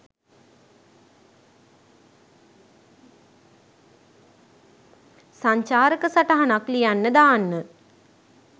සංචාරක සටහනක් ලියන්න දාන්න